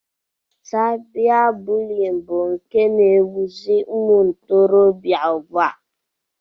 Saiba bụliyin bụ nke na ewuziri umuntorobia ugbua.